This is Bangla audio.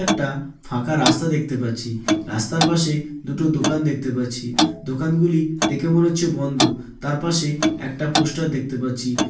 একটাআ ফাঁকা রাস্তা দেখতে পাচ্ছি রাস্তার পাশেএ দুটো দোকান দেখতে পাচ্ছি দোকান গুলিই দেখে মনে হচ্ছে বন্ধো তার পাশে একটা পোস্টার দেখতে পাচ্ছি